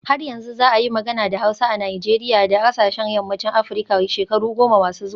Har yanzu za a yi magana da Hausa a Najeriya da sauran kasashen yammacin Afirka shekaru goma masu zuwa